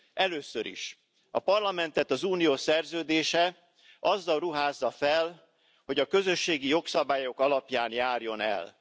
Először is A Parlamentet az Unió szerződése azzal ruházza fel, hogy a közösségi jogszabályok alapján járjon el.